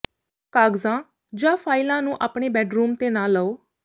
ਕਾਗਜ਼ਾਂ ਜਾਂ ਫਾਈਲਾਂ ਨੂੰ ਆਪਣੇ ਬੈਡਰੂਮ ਤੇ ਨਾ ਲਓ